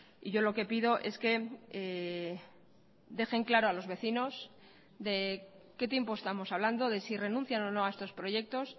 y yo lo que pido es que dejen claro a los vecinos de qué tiempo estamos hablando de si renuncian o no a estos proyectos